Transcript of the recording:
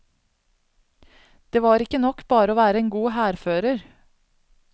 Det var ikke nok bare å være en god hærfører.